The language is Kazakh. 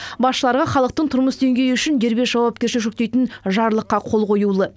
басшыларға халықтың тұрмыс деңгейі үшін дербес жауапкершілік жүктейтін жарлыққа қол қоюлы